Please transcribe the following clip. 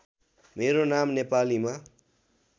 मेरो नाम नेपालीमा